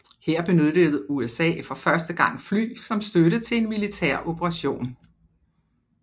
Her benyttede USA for første gang fly som støtte til en militær operation